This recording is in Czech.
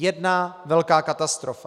Jedna velká katastrofa!